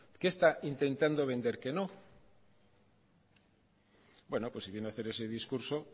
qué está intentando vender que no bueno pues si viene hacer ese discurso